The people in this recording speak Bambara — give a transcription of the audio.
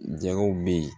Jago bɛ yen